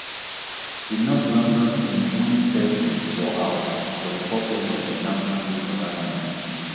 di north london team win thirty for house for di first leg of di champions league quarterfinal